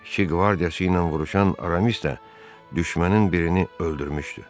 Üçüncü qvardiyası ilə vuruşan Aramis də düşmənin birini öldürmüşdü.